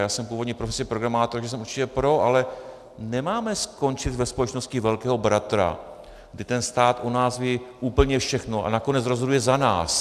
Já jsem původní profesí programátor, takže jsem určitě pro, ale nemáme skončit ve společnosti velkého bratra, kde ten stát o nás ví úplně všechno a nakonec rozhoduje za nás.